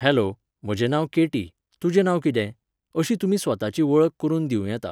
Hello, म्हजें नांव Katie, तुजें नांव कितें? अशी तुमी स्वताची वळख करुन दिवं येता.